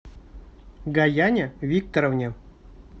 гаяне викторовне